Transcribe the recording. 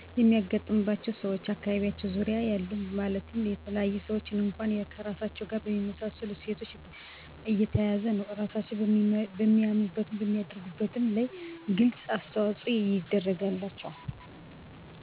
አሉኝ። አብዛኛዉን እንደኔ ተመሣሣይ አሰተዳደግና አመለካከት ነው ያላቸዉ